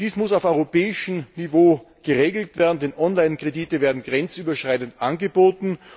Dies muss auf europäischem Niveau geregelt werden, denn Online Kredite werden grenzüberschreitend angeboten.